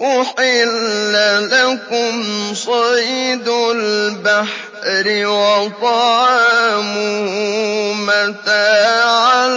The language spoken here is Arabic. أُحِلَّ لَكُمْ صَيْدُ الْبَحْرِ وَطَعَامُهُ مَتَاعًا